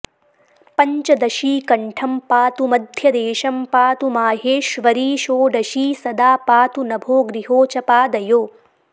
पञ्चदशी कण्ठं पातु मध्यदेशं पातु माहेश्वरी षोडशी सदा पातु नभो गृहो च पादयो